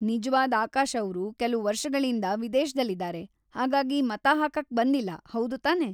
ನಿಜ್ವಾದ್ ಆಕಾಶ್ ಅವ್ರು ಕೆಲ್ವು ವರ್ಷಗಳಿಂದ ವಿದೇಶ್ದಲ್ ಇದಾರೆ, ಹಾಗಾಗಿ ಮತ ಹಾಕಕ್ ಬಂದಿಲ್ಲ‌, ಹೌದ್‌ ತಾನೇ?